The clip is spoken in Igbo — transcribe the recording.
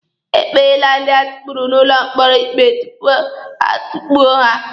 E kpeele ndị atukpuru n'ụlọ mkpọrọ ikpe tupu a tukpuo ha.